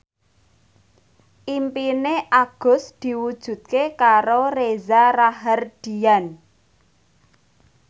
impine Agus diwujudke karo Reza Rahardian